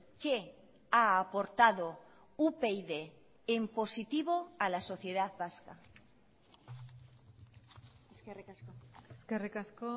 qué ha aportado upyd en positivo a la sociedad vasca eskerrik asko eskerrik asko